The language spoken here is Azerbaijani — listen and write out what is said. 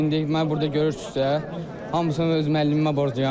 İndi məni burda görürsüzsə, hamısını öz müəllimimə borcluyam.